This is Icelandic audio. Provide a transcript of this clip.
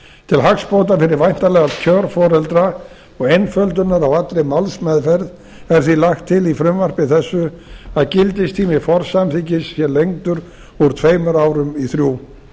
til hagsbóta fyrir væntanlega kjörforeldra og einföldunar á allri málsmeðferð er því lagt til í frumvarpi þessu að gildistími forsamþykkis sé lengdur úr tveimur árum í þrjú